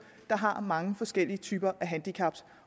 der har mange forskellige typer af handicap